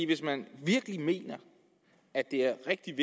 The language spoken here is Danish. hvis man virkelig mener at det er rigtig